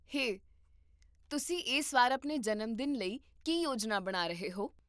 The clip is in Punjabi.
ਹੇ, ਤੁਸੀਂ ਇਸ ਵਾਰ ਆਪਣੇ ਜਨਮਦਿਨ ਲਈ ਕੀ ਯੋਜਨਾ ਬਣਾ ਰਹੇ ਹੋ?